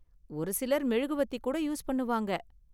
ஒரு சிலர் மெழுகுவர்த்தி கூட யூஸ் பண்ணுவாங்க.